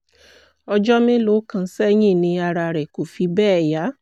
ọjọ́ mélòó kan sẹ́yìn ni ara rẹ̀ kò fi bẹ́ẹ̀ yá